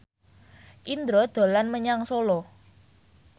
Indro dolan menyang Solo